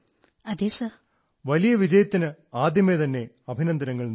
first of all I would like to congratulate you for your great success